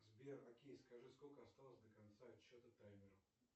сбер окей скажи сколько осталось до конца отсчета таймера